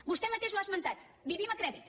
vostè mateix ho ha esmentat vivim a crèdit